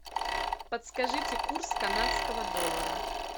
подскажите курс канадского доллара